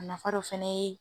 A nafa dɔ fana ye